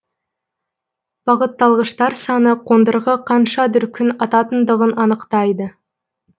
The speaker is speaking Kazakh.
бағытталғыштар саны қондырғы қанша дүркін ататындығын анықтайды